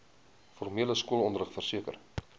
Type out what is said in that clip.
formele skoolonderrig verseker